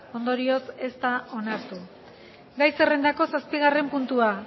ondorioz ez da onartu gai zerrendako zazpigarren puntua